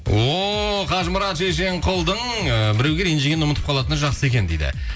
о қажымұрат шешенқұлдың ііі біреуге ренжігенін ұмытып қалатыны жақсы екен дейді